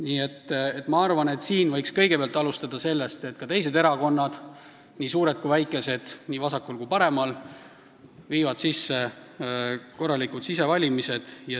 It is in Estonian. Nii et siin võiks alustada sellest, et ka teised erakonnad, nii suured kui väikesed, nii vasakul kui paremal, hakkavad läbi viima korralikke sisevalimisi.